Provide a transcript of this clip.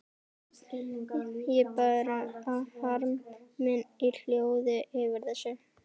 Ég bar harm minn í hljóði yfir þessu.